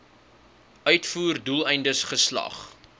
uitvoer doeleindes geslag